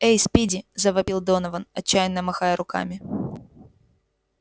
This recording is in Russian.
эй спиди завопил донован отчаянно махая руками